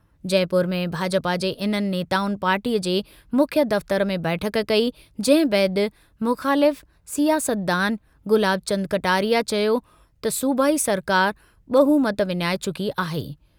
जयपुर में भाजपा जे इन्हनि नेताउनि पार्टीअ जे मुख्य दफ़्तरु में बैठक कई जंहिं बैदि मुख़ालिफ़ सियासतदान गुलाबचंद कटारिए चयो त सूबाई सरकार ॿहुमत विञाए चुकी आहे।